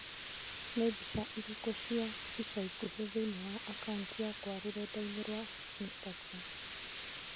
Nĩ mbica irĩkũ cia ica ikuhĩ thĩinĩ wa akaũnti yakwa rũrenda-inĩ rũa Instagram?